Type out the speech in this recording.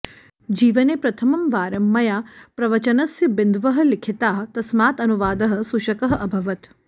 जीवने प्रथमं वारं मया प्रवचनस्य बिन्दवः लिखिताः तस्मात् अनुवादः सुशकः अभवत्